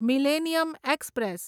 millennium express